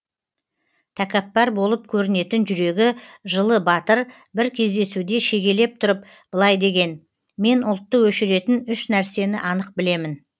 тәкаппар болып көрінетін жүрегі жылы батыр бір кездесуде шегелеп тұрып былай деген мен ұлтты өшіретін үш нәрсені анық білемін